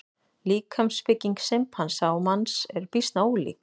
Líkamsbygging simpansa og manns er býsna ólík.